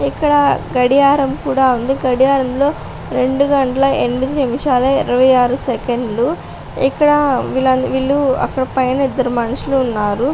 ఇక్కడ గడియారం కూడా ఉంది గడియారంలో రెండు గంటల ఎనిమిది నిమిషాల ఇరవై ఆరు సెకండ్లు ఇక్కడ వీళ్ళు అక్కడ పైన ఇద్ధరు మనుషులు ఉన్నారు.